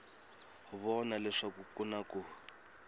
vona leswaku ku na ku